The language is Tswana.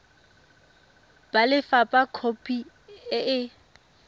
ba lefapha khopi e e